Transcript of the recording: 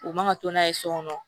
U man ka to n'a ye so kɔnɔ